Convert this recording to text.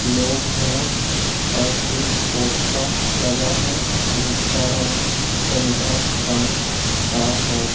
लोग है और एक पोस्टर लगा है जिसका रंग संतरा रंग का हैं।